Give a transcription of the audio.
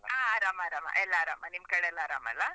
ಹಾ, ಆರಾಮ್ ಆರಾಮ, ಎಲ್ಲ ಆರಾಮ, ನಿಮ್ಕಡೆಯೆಲ್ಲ ಆರಾಮ ಅಲ್ಲ?